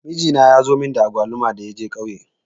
Mijina ya zo mun da agwaluma da ya je ƙauye.